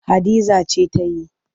Hadiza ce ta yi.